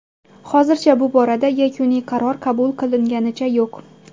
Hozircha bu borada yakuniy qaror qabul qilinganicha yo‘q.